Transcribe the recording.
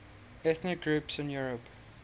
ethnic groups in europe